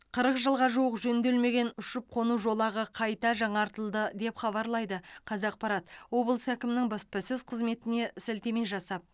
қырық жылға жуық жөнделмеген ұшып қону жолағы қайта жаңартылды деп хабарлайды қазақпарат облыс әкімінің баспасөз қызметіне сілтеме жасап